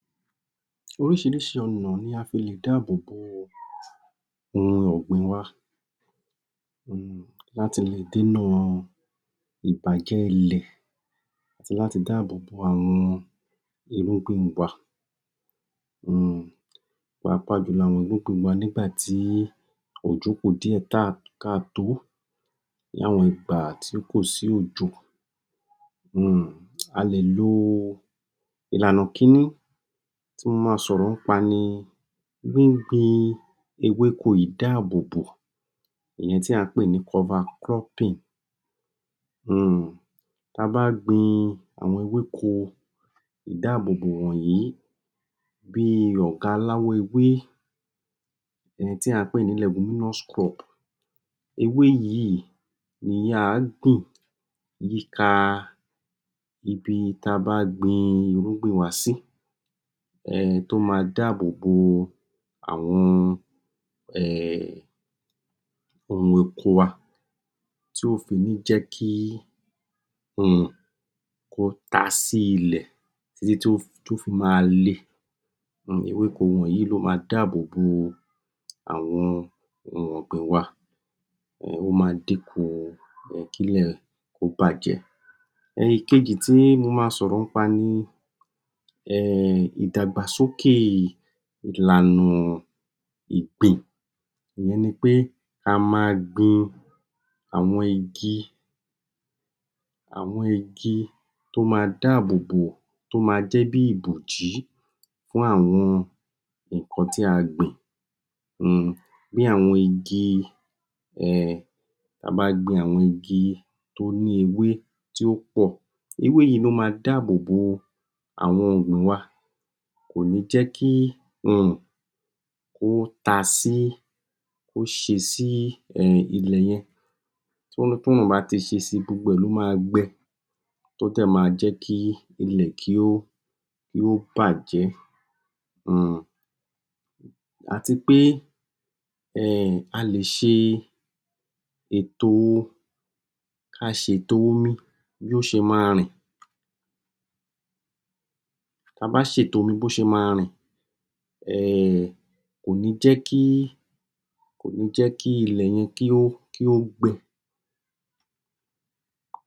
Oríṣiríṣi ọ̀nà ni a lè fi dáàbòbo ohun ọ̀gbìn wa láti dènà ìbàjẹ́ ilẹ̀ àti láti dáàbòbo àwọn irúgbìn wa un pàápàá jù lọ àwọn ìrúgbìn wa nígbà tí ó kú díẹ̀ ká tòó ní àwọn ìgbà tí kò sí òjò A lè lo ìlànà kinní tí mo máa sọ̀rọ̀ nípa ni gbíngbin ewéko ìdáàbòbò èyí tí à ń pè ní Cover cropping unnnn Bí a bá gbín àwọn ewéko ìdáàbòbò wọ̀nyí bí ọ̀gá láwọn ewé èyí tí à ń pè ní leguminous crop ewé yìí ni à á gbìn yí ká ibi tí a bá gbin irúgbìn wa sí tó máa dáàbòbo àwọn ohun oko wa tí kò fi ní jẹ́ kí kí ó ta sí ilẹ̀ títí tí ó fi máa le le ewéko wọ̀nyí ló máa dáàbòbo àwọn ohun ọ̀gbìn wa ó máa dín kù kí ilẹ̀ kó bàjẹ́ Èkejì tí mo máa sọ̀rọ̀ nípa ni ìdàgbàsókè ìlànà ìgbìn ìyẹn ni pé a máa gbin àwọn igi toó máa dáàbòbò tó máa jẹ́ bí ìbòjí fún àwọn nǹkan tí a gbìn bí àwọn igi bí a bá gbin àwọn igi tó ní ewé tó pọ̀ ewé yìí ló máa dáàbòbò àwọn ohun ọ̀gbìn wa wa kò ní jẹ́ kí iyùn kó ta sí kó ṣe sí ilẹ̀ yẹn tí òrùn bá ti ṣe si gbogbo ẹ̀ ló máa gbẹ tó dẹ̀ máa jẹ́ kí ilẹ̀ kí ó kí ó bàjẹ́ àti pé a lè ṣe ètò kí a ṣe ètò omi bí ó ṣe máa rìn tí a bá ṣètò omi bí ó ṣe máa rìn kò ní jẹ́ kí kò ní jẹ́ kí ilẹ̀ yẹn kí ó gbẹ